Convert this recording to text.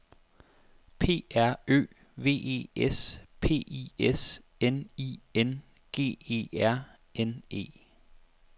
P R Ø V E S P I S N I N G E R N E